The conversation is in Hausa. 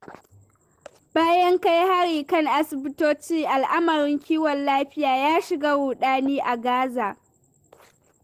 Bayan kai hari kan asibitoci, al'amarin kiwon lafiya ya shiga ruɗani a Gaza.